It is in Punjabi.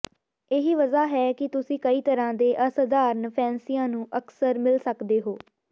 ਇਹੀ ਵਜ੍ਹਾ ਹੈ ਕਿ ਤੁਸੀਂ ਕਈ ਤਰ੍ਹਾਂ ਦੇ ਅਸਾਧਾਰਨ ਫੈਂਸਿਆਂ ਨੂੰ ਅਕਸਰ ਮਿਲ ਸਕਦੇ ਹੋ